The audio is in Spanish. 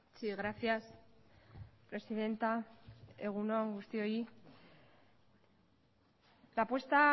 sí gracias presidenta egun on guztioi la apuesta